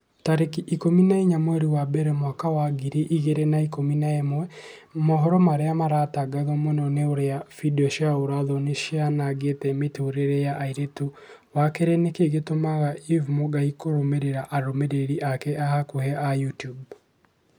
tarĩki ikũmi na inya mweri wa mbere mwaka wa ngiri igĩrĩ na ikũmi na ĩmwe mohoro marĩa maratangatwo mũno ni ũrĩa findio cia ũũra-thoni cianangĩte mĩtũrĩre ya airĩtu wa kerĩ nĩkĩĩ gĩtũmaga eve mũngai kũrũmĩrĩra arũmĩrĩri ake a hakuhi a YouTUBE